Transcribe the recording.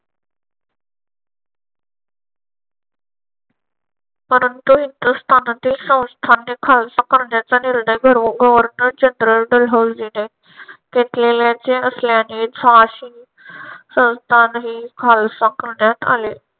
परंतु हिंदुस्थानातील संस्थाने खालसा करण्याचा निर्णय घेऊन गव्हर्नर जनरल लॉर्ड डलहौसीने पेटलेल्याचे असल्याने झाशी संस्थानही खालसा करण्यात आले.